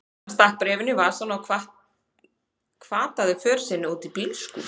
Hann stakk bréfinu í vasann og hvataði för sinni út í bílskúr.